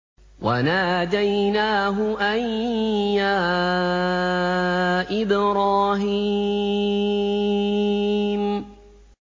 وَنَادَيْنَاهُ أَن يَا إِبْرَاهِيمُ